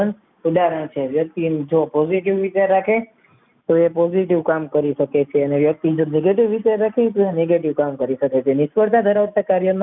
તો એ positive કામ કરી શકે છે અને વ્યક્તિગત negative વિચાર રાખશે તે negative કામ કરી શકે તે નિષ્ફળતા ધરાવતા કાર્યો કરે ત્યારે રમત સંવાદ માટે કહે છે કે જે માણસ જેવા વિચાર છે